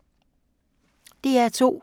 DR2